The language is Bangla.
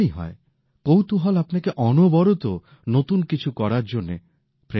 কৌতূহল আপনাকে অনবরত নতুন কিছুর জন্য প্রেরণা দেয়